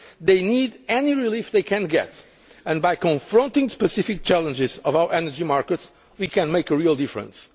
taxes. They need any relief they can get and by confronting the specific challenges of our energy markets, we can make a real difference.